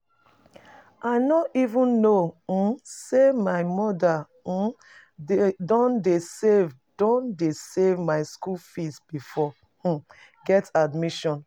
I no even know um say my mother um don dey save don dey save my school fees before I um get admission